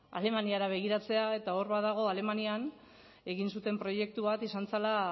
alemaniara begiratzea eta hor badago alemanian egin zuten proiektu bat izan zela